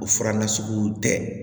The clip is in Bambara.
O fura nasuguw tɛ